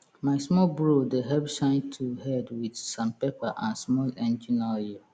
my small bro dey help shine tool head wit sandpaper and small engine oil